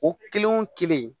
O kelen wo kelen